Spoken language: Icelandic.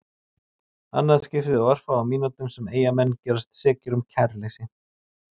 Annað skiptið á örfáum mínútum sem Eyjamenn gerast sekir um kæruleysi.